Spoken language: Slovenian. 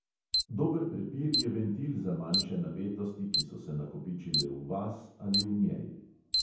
Dober prepir je ventil za manjše napetosti, ki so se nakopičile v vas ali v njej.